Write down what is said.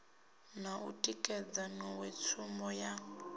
na u tikedza nḓowetshumo ya